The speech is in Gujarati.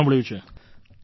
શું સાંભળ્યું છે